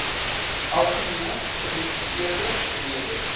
algemene gepubliseerde redes